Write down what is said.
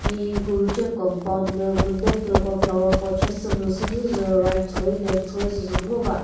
hihi kühuce compound lü münyepüko flower pot she sümüzü süsü right choi left choi süsü ngo va.